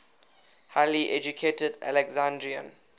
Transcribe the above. highly educated alexandrian